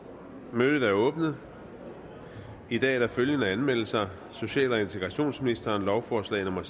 mødet er åbnet i dag er der følgende anmeldelser social og integrationsministeren lovforslag nummer